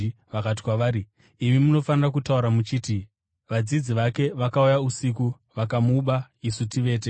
vakati kwavari, “Imi munofanira kutaura muchiti, ‘Vadzidzi vake vakauya usiku vakamuba isu tivete.’